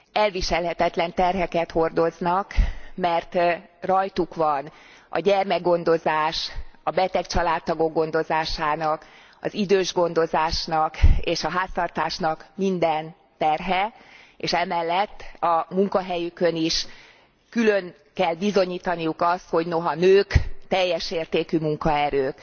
Elviselhetetlen terheket hordoznak, mert rajtuk van a gyermekgondozás, a beteg családtagok gondozásának, az idősgondozásnak és a háztartásnak minden terhe, és emellett a munkahelyükön is külön kell bizonyítaniuk azt, hogy noha nők, teljes értékű munkaerők.